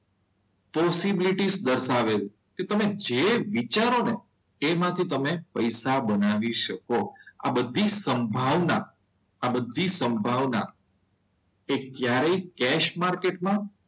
Possibility દર્શાવે છે કે તમે જે વિચારો ને તેમાંથી તમે પૈસા બનાવી શકો. આ બધું સંભાવના આ બધી સંભાવના એ ક્યારેય કેસ માર્કેટમાં,